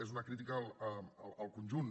és una crítica al conjunt